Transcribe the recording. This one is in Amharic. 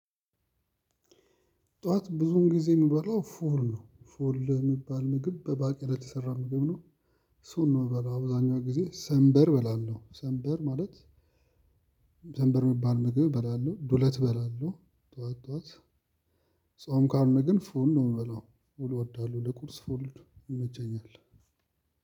ጥዋት ብዙን ጊዜ እምበላው ፉል ነው ፉል እሚባል ምግብ በባቄላ የተሰራ ምግብ ነው። እሱን ነው እምበላው አብዛኛው ጊዜ ሰንበር እበላለሁ ሰንበር ማለት ሰንበር እሚባል ምግብ እበላለሁ ዱለት እበላለሁ። ጥዋት ጥዋት ጾም ካልሆነ ግን ፉል ነው እምበለው ፉል ለቁርስ ፉል ይመቸኛል።